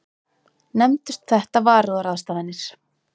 Nefndust þetta varúðarráðstafanir.